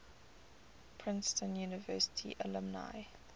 princeton university alumni